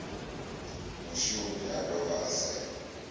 mushumi a dovha a saina